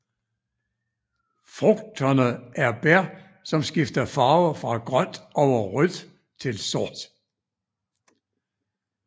Frugterne er bær som skifter farve fra grønt over rødt til sort